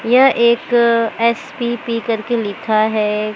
यह एक एस_पी_पी करके लिखा है।